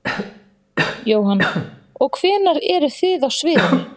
Jóhann: Og hvenær eruð þið á sviðinu?